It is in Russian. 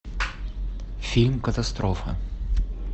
фильм катастрофа